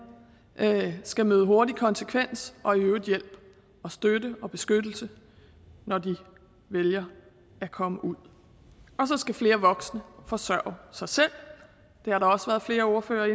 skal møde hurtig konsekvens og i øvrigt hjælp og støtte og beskyttelse når de vælger at komme ud og så skal flere voksne forsørge sig selv det har flere ordførere